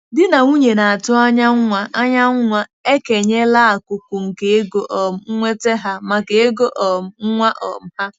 Di na nwunye na-atụ anya nwa anya nwa ekenyela akụkụ nke ego um nnweta ha maka ego um nwa um ha.